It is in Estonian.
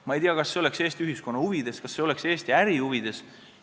Ma ei tea, kas see oleks Eesti ühiskonna huvides, kas see oleks Eesti äri huvides.